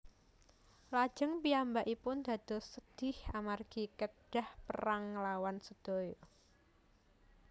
Lajeng piyambakipun dados sedhih amargi kedhah perang nglawan sedaya